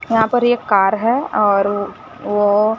यहां पर ये कार है और वो--